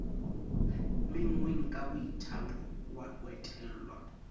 menngweng ka boithaopo ho etella